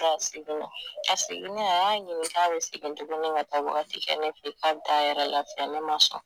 E a segin na a seginnen a y'a ɲini k'a be segin tuguni ka taa wagati kɛ ne fe yen k'a bi t'a yɛrɛ lafiɲɛn ne ma sɔn